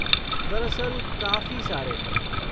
दरअसल, काफ़ी सारे हैं।